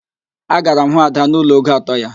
Agara m hụ Ada n'ụlọ ogo atọ ya